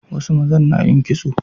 Wasu mazan na yin kitso